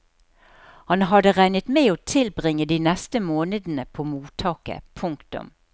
Han hadde regnet med å tilbringe de neste månedene på mottaket. punktum